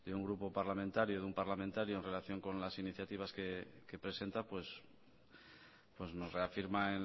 un grupo parlamentario de un parlamentario en relación con las iniciativas que presenta pues nos reafirma